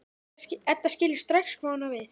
Edda skilur strax hvað hún á við.